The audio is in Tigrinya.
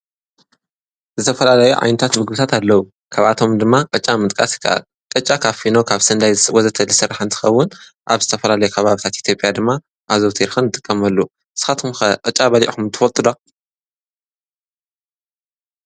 ዝተፈላለዩ ዓይነታት ምግብታት ኣለው። ካብኣቶም ድማ ቅጫ ምጥቃስ ይከኣል ቅጫ ካብ ፊኖ ካብ ስርናይ ወዘተ... ዝስራሕ እንትከውን ኣብ ዝተፈላለዩ ከባቢታት ኢትዮጰያ ድማ ኣዘውትና ንጥቀመሉ ።ንስካትኩም ከቅጫ በሊዕኩም ትፈልጡ ዶ?